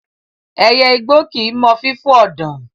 Ẹyẹ igbó kì í mọ fífò ọ̀dàn.